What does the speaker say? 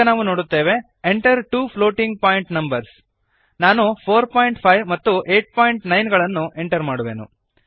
ಈಗ ನಾವು ನೋಡುತ್ತೇವೆ Enter two floating point numbers ನಾನು 45 ಮತ್ತು 89 ಗಳನ್ನು ಎಂಟರ್ ಮಾಡುವೆನು